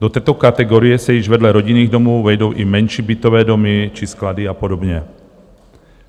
Do této kategorie se již vedle rodinných domů vejdou i menší bytové domy či sklady a podobně.